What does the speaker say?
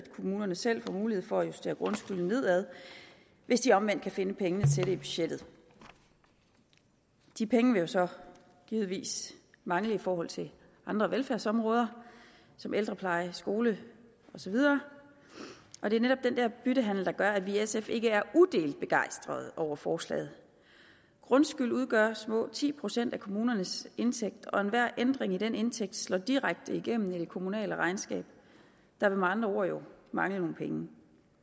kommunerne selv får mulighed for at justere grundskylden nedad hvis de omvendt kan finde pengene til det i budgettet de penge vil jo så givetvis mangle i forhold til andre velfærdsområder som ældrepleje skole og så videre og det er netop den der byttehandel der gør at vi i sf ikke er udelt begejstrede over forslaget grundskyld udgør små ti procent af kommunernes indtægt og enhver ændring i den indtægt slår direkte igennem i det kommunale regnskab der vil med andre ord jo mangle nogle penge